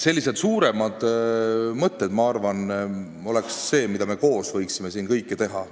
Sellised suuremad mõtted, ma arvan, võiksid olla need, mille abil me koos võiksime siin kõike teha.